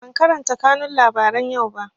Ban karanta kanun labaran yau ba